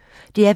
DR P1